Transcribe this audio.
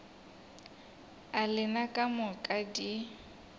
a lena ka moka di